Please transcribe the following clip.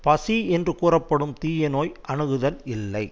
பசி என்று கூறப்படும் தீய நோய் அணுகுதல் இல்லை